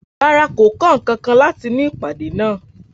Rárá, kò kọ́ nǹkankan láti inú ìpàdé náà.